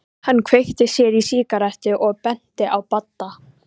Hann kveikti sér í sígarettu og benti á Badda.